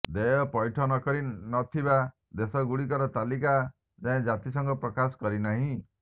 ଦେୟ ପୈଠ କରି ନ ଥିବା ଦେଶଗୁଡ଼ିକର ତାଲିକା ଯାଏଁ ଜାତିସଂଘ ପ୍ରକାଶ କରିନାହିଁ